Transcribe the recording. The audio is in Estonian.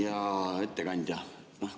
Hea ettekandja!